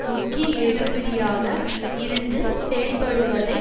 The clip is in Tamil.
முக்கிய எடுபிடியாக இருந்து செயல்படுவதைத்